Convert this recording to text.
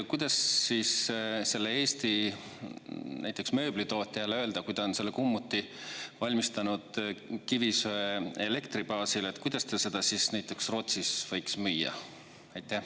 Kuidas siis sellele Eesti näiteks mööblitootjale öelda, kui ta on selle kummuti valmistanud kivisöeelektri baasil, et kuidas ta seda siis näiteks Rootsis võiks müüa?